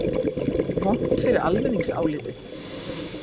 Vont fyrir almenningsálitið?